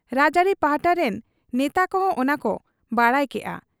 ᱨᱟᱡᱽ ᱟᱹᱨᱤ ᱯᱟᱦᱴᱟ ᱨᱤᱱ ᱱᱮᱛᱟ ᱠᱚᱦᱚᱸ ᱚᱱᱟᱠᱚ ᱵᱟᱰᱟᱭ ᱠᱮᱜ ᱟ ᱾